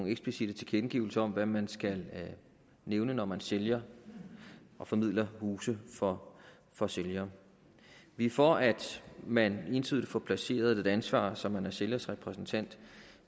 eksplicitte tilkendegivelser om hvad man skal nævne når man sælger og formidler huse for for sælgere vi er for at man entydigt får placeret et ansvar så man er sælgers repræsentant